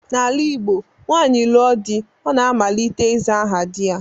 N'ala Igbo, nwaanyị lụọ di, ọ na-amalite ịza aha di ya